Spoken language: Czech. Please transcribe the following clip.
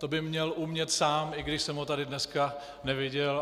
To by měl umět sám, i když jsem ho tady dneska neviděl.